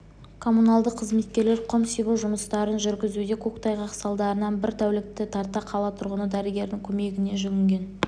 коммуналдық қызметкерлер құм себу жұмыстарын жүргізуде көктайғақ салдарынан бір тәулікте тарта қала тұрғыны дәрігердің көмегіне жүгінген